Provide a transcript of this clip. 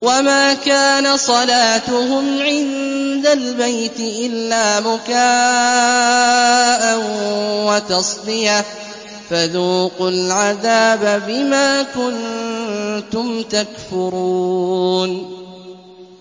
وَمَا كَانَ صَلَاتُهُمْ عِندَ الْبَيْتِ إِلَّا مُكَاءً وَتَصْدِيَةً ۚ فَذُوقُوا الْعَذَابَ بِمَا كُنتُمْ تَكْفُرُونَ